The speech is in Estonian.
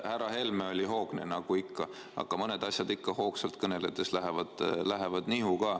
Härra Helme oli hoogne nagu ikka, aga mõned asjad lähevad hoogsalt kõneldes ka nihu.